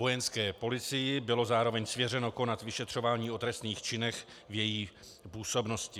Vojenské policii bylo zároveň svěřeno konat vyšetřování o trestných činech v její působnosti.